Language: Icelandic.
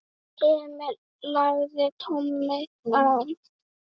Emil lagði tólið á.